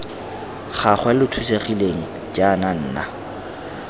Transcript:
gagwe lo thusegileng jaana nna